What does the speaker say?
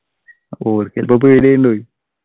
ഓർക്ക് ചെലപ്പോ പേടിയായിട്ടുണ്ടാകുവെ